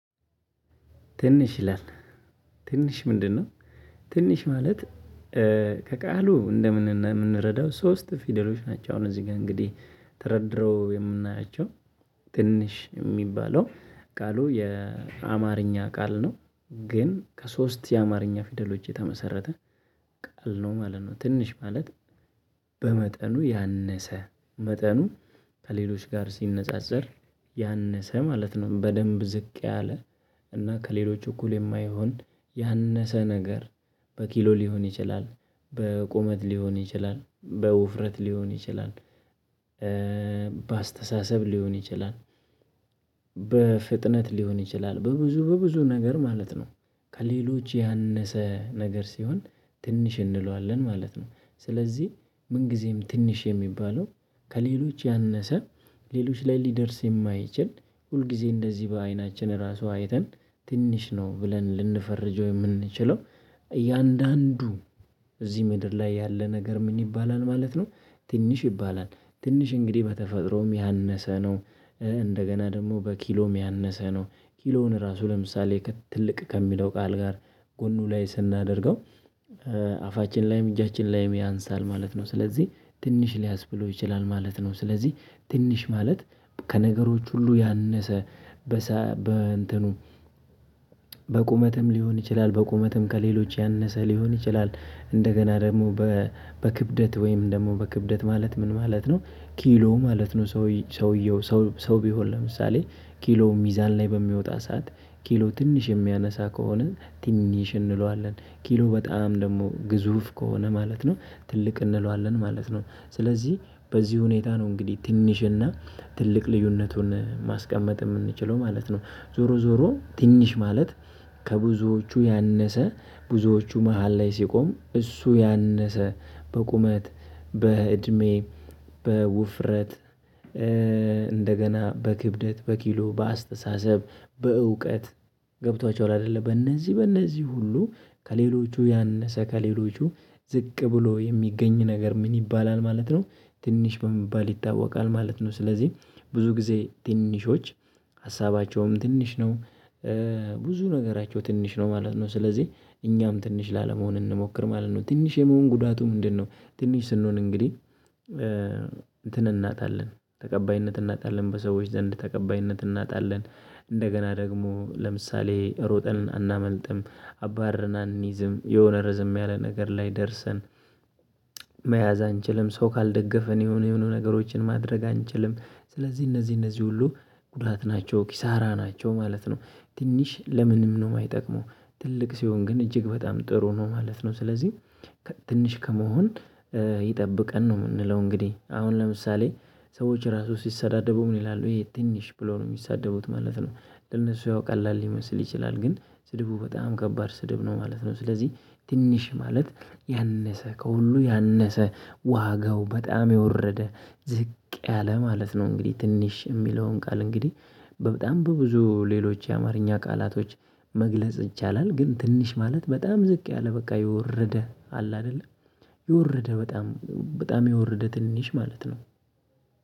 ትንሽ ይላል ትንሽ ምንድነው? ትንሽ ማለት ከቃሉ እንረዳው ሶስት ፊደሎች ናቸው። አሁን እዚህ ጋር እንግዲህ ተረድረው የምናያቸው ትንሽ የሚባለው ቃሉ የአማርኛ ቃል ነው። ግን ከሶስት የአማርኛ ፊደሎች የተመሰረተ ቃል ነው ማለት ነው። ትንሽ ማለት በመጠኑ ያነሰ መጠኑ ከሌሎች ጋር ሲነጻጸር ያነሰ ማለት ነው። በደንብ ዝቅ ያለ እና ከሌሎች እኩል የማይሆን ያነሰ ነገር በኪሎ ሊሆን ይችላል በቁመት ሊሆን ይችላል በውፍረት ሊሆን ይችላል። በአስተሳሰብ ሊሆን ይችላል በፍጥነት ሊሆን ይችላል በብዙ በብዙ ነገር ማለት ነው። ከሌሎች ያነሰ ነገር ሲሆን ትንሽ እንለዋለን ማለት ነው። ስለዚህ ምን ጊዜም ትንሽ የሚባለው ከሌሎች ያነሰ ሌሎች ላይ ሊደርስ የማይችል ሁል ጊዜ እንደዚህ በአይናችን ራሱ አይተን ትንሽ ነው ብለን ልንፈርጅ የምንችለው። እያንዳንዱ እዚህ ምድር ላይ ያለ ነገር ምን ይባላል ማለት ነው። ትንሽ ይባላል ትንሽ እንግዲህ በተፈጥሮም ያነሰ ነው። እንደገና ደግሞ በኪሎም ያነሰ ነው ኪሎውን ራሱ ለምሳሌ ትልቅ ከሚለው ቃል ጋር ጎኑ ላይ ስናደርገው። አፋችን ላይም እጃችን ላይም ያንሳል ማለት ነው። ስለዚህ ትንሽ ሊያስ ብሎ ይችላል ማለት ነው። ስለዚህ ትንሽ ማለት ከነገሮች ሁሉ ያነሰ። በቁመትም ሊሆን ይችላል በቁመትም ከሌሎች ያነሰ ሊሆን ይችላል። እንደገና ደግሞ በክብደት ወይም ደግሞ በክብደት ማለት ምን ማለት ነው ኪሎ ማለት ነው። ሰውየው ሰው ቢሆን ለምሳሌ ኪሎ ሚዛን ላይ በሚወጣ ሰዓት ኪሎ ትንሽ የሚያነሳ ከሆነ ትንሽ እንለዋለን ኪሎ በጣም ደግሞ ግዙፍ ከሆነ ማለት ነው ትልቅ እንለዋለን ማለት ነው። ስለዚህ በዚህ ሁኔታ ነው እንግዲህ ትንሽና ትልቅ ልዩነቱን ማስቀመጥ የምንችለው ማለት ነው። ዞሮ ዞሮ ትንሽ ማለት። ከብዙዎቹ ያነሰ ብዙዎቹ መሃል ላይ ሲቆም እሱ ያነሰ በቁመት በእድሜ በውፍረት እንደገና በክብደት በኪሎ በአስተሳሰብ በእውቀት ገብቷቸው ላይ አይደለም በእነዚህ በእነዚህ ሁሉ። ከሌሎቹ ያነሰ ከሌሎቹ ዝቅ ብሎ የሚገኝ ነገር ምን ይባላል ማለት ነው። ትንሽ በመባል ይታወቃል ማለት ነው ስለዚህ ብዙ ጊዜ ትንሾች ሀሳባቸውም ትንሽ ነው። ብዙ ነገራቸው ትንሽ ነው ማለት ነው። ስለዚህ እኛም ትንሽ ላለመሆን እንሞክር ማለት ነው። ትንሽ የመሆን ጉዳቱ ምንድነው? ትንሽ ስንሆን እንግዲህ እንትን እናጣለን ተቀባይነት እናጣለን በሰዎች ዘንድ ተቀባይነት እናጣለን። እንደገና ደግሞ ለምሳሌ ሮጠን አናመልጥም አባረን አንይዝም የሆነ ርዝም ያለ ነገር ላይ ደርሰን። መያዝ አንችልም ሰው ካልደገፍን የሆነ የሆኑ ነገሮችን ማድረግ አንችልም። ስለዚህ እነዚህ እነዚህ ሁሉ ጉድላት ናቸው ኪሳራ ናቸው ማለት ነው። ትንሽ ለምንም ነው የማይጠቅመው? ትልቅ ሲሆን ግን እጅግ በጣም ጥሩ ነው ማለት ነው። ስለዚህ ትንሽ ከመሆን ይጠብቀን ነው የምንለው። እንግዲህ አሁን ለምሳሌ ሰዎች ራሱ ሲሰዳደቡ ምን ይላሉ ይሄ ትንሽ ብሎ ነው የሚሳደቡት ማለት ነው። ለነሱ ያውቃል ሊመስል ይችላል ግን ስድቡ በጣም ከባድ ስድብ ነው ማለት ነው። ስለዚህ ትንሽ ማለት ያነሰ ከሁሉ ያነሰ ዋጋው በጣም የወረደ ዝቅ ያለ ማለት ነው። እንግዲህ ትንሽ የሚለውን ቃል እንግዲህ በጣም በብዙ ሌሎች የአማርኛ ቃላቶች መግለጽ ይቻላል። ግን ትንሽ ማለት በጣም ዝቅ ያለ በቃ የወረደ አለ አይደለ የወረደ በጣም በጣም የወረደ ትንሽ ማለት ነው።